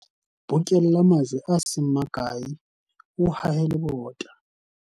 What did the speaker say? bokella majwe a se makae o hahe lebota